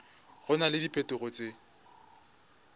go na le diphetogo tse